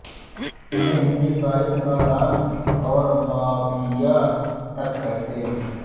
उन्हें हिंदी साहित्य का डॉन और माफिया तक कहते रहे